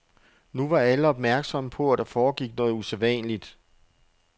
Nu var alle opmærksomme på, at der foregik noget usædvanligt.